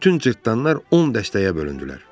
Bütün cırtdanlar 10 dəstəyə bölündülər.